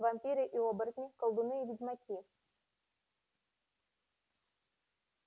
вампиры и оборотни колдуны и ведьмаки